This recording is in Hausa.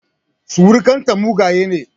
Surukan ta mugaye ne